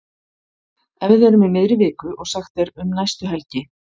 Ef við erum í miðri viku og sagt er um næstu helgi.